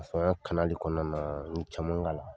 ya kɔɔna naa, n ye caman k'a la.